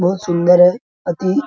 बहुत सुंदर है अथी --